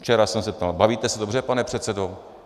Včera jsem se ptal: Bavíte se dobře, pane předsedo?